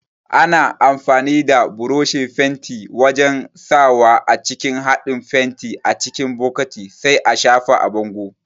Ana amfani da buroshin fenti wajan sawa a cikin haɗin fenti a cikin bokati sai a shafa a bango